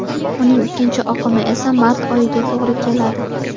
Uning ikkinchi oqimi esa mart oyiga to‘g‘ri keladi.